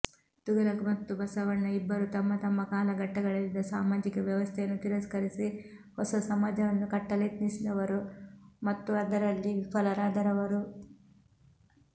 ತುಘಲಕ್ ಮತ್ತು ಬಸವಣ್ಣ ಇಬ್ಬರೂ ತಮ್ಮತಮ್ಮ ಕಾಲಘಟ್ಟಗಳಲ್ಲಿದ್ದ ಸಾಮಾಜಿಕ ವ್ಯವಸ್ಥೆಯನ್ನು ತಿರಸ್ಕರಿಸಿ ಹೊಸ ಸಮಾಜವನ್ನು ಕಟ್ಟಲೆತ್ನಿಸಿದವರು ಮತ್ತು ಅದರಲ್ಲಿ ವಿಫಲರಾದವರು